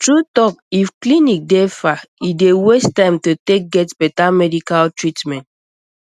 true talk if clinic dey far e dey waste time to take get better medical treatment